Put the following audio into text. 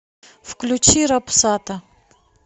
включи рапсата